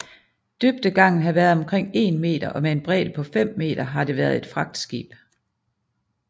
Dybdegangen har været omkring 1 meter og med en bredde på 5 m har det været et fragtskib